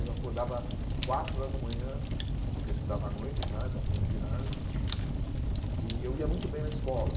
Aí eu acordava às quatro horas da manhã, porque eu estudava à noite já, eu estava fazendo ginásio, e eu ia muito bem na escola.